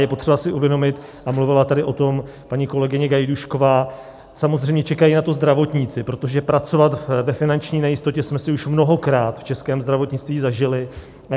Je potřeba si uvědomit, a mluvila tady o tom paní kolegyně Gajdůšková, samozřejmě čekají na to zdravotníci, protože pracovat ve finanční nejistotě jsme si už mnohokrát v českém zdravotnictví zažili.